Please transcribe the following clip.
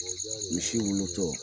Misi wolotɔ